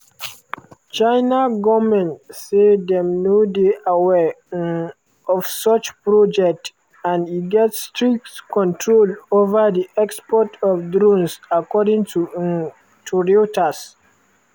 china goment say dem no dey aware um of such project and e get strict controls ova di export of drones according um to reuters.